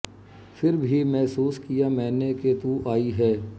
ਫਿਰ ਭੀ ਮਹਿਸੂਸ ਕੀਆ ਮੈਨੇ ਕਿ ਤੂ ਆਈ ਹੈ